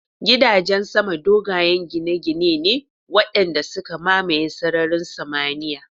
Gidajen sama dogayen gine-gine ne waɗanda suka mamaye sararin samaniyar